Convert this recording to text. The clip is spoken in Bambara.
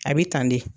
A bɛ tan de